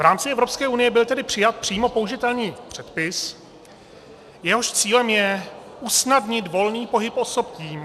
V rámci Evropské unie byl tedy přijat přímo použitelný předpis, jehož cílem je usnadnit volný pohyb osob tím...